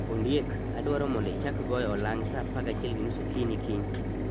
Ondiek, adwaro mondo ichak goyo olang ' sa 11:30 okinyi kiny.